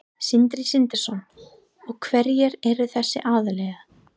Sindri Sindrason: Og hverjir eru þessir aðilar?